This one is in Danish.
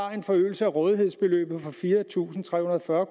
om en forøgelse af rådighedsbeløbet på fire tusind tre hundrede og fyrre